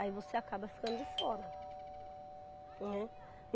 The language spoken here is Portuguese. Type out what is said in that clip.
Aí você acaba ficando de fora, né.